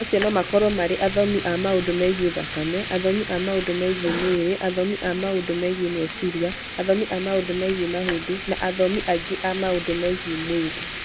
Acio no makorũo marĩ athomi a maũndũ megiĩ thakame, athomi a maũndũ megiĩ mwĩrĩ, athomi a maũndũ megiĩ meciria, athomi a maũndũ megiĩ mahĩndĩ, na athomi angĩ a maũndũ megiĩ mwĩrĩ.